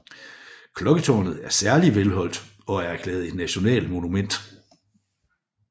Klokketårnet er særlig velholdt og er erklæret et nationalt monument